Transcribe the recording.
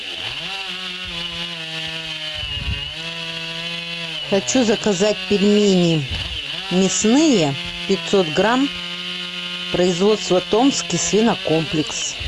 хочу заказать пельмени мясные пятьсот грамм производство томский свинокомплекс